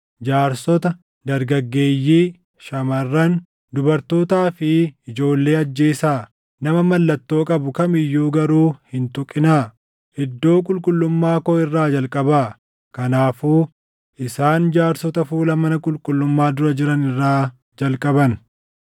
Jaarsota, dargaggeeyyii, shamarran, dubartootaa fi ijoollee ajjeesaa; nama mallattoo qabu kam iyyuu garuu hin tuqinaa. Iddoo qulqullummaa koo irraa jalqabaa.” Kanaafuu isaan jaarsota fuula mana qulqullummaa dura jiran irraa jalqaban.